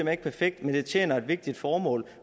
er ikke perfekt men det tjener et vigtigt formål